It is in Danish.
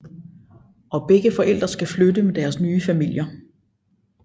Og begge forældre skal flytte med deres nye familier